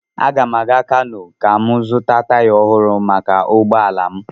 Aga m aga Kanu ka m zụta taya ọhụrụ maka ụgbọ ala m.